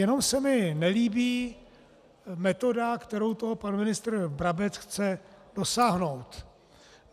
Jenom se mi nelíbí metoda, kterou to pan ministr Brabec chce dosáhnout.